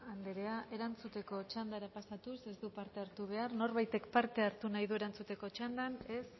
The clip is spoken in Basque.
andrea erantzuteko txandara pasatuz ez du parte hartu behar norbaitek parte hartu nahi du erantzuteko txandan ez